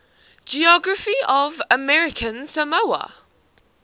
geography of american samoa